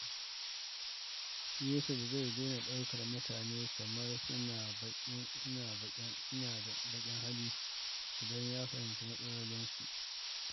Yusuf zai daina ɗaukar mutane kamar suna da baƙin hali idan ya fahimci matsalolinsu.